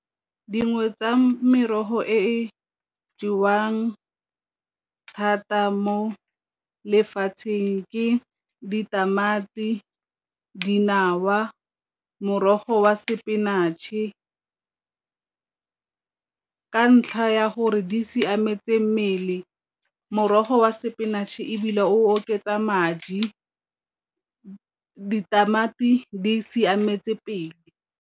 Dingwe tsa merogo e jewang thata mo lefatsheng ke ditamati, dinawa, morogo wa spinach-e ka ntlha ya gore di siametse mmele, morogo wa spinach ebile o oketsa madi, ditamati di siametse pelo.